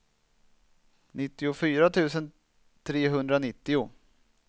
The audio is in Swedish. nittiofyra tusen trehundranittio